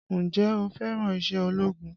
Ǹjẹ́ o fẹ́ràn iṣẹ́ ológun?